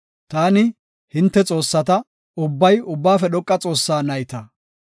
Taani, “Hinte xoossata; ubbay Ubbaafe Dhoqa Xoossaa nayta.